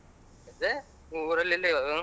ಊರಲ್ಲಿ ಇಲ್ಲ ಇವಾಗ.